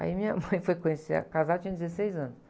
Aí minha mãe foi conhecer a casada, ela tinha dezesseis anos.